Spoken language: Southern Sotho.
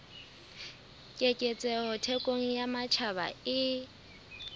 keketseho thekong ya matjhaba e